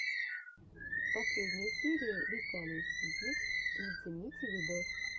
последняя серия виталий ситник зацените видос